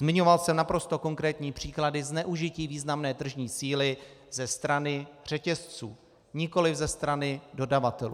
Zmiňoval jsem naprosto konkrétní příklady zneužití významné tržní síly ze strany řetězců, nikoliv ze strany dodavatelů.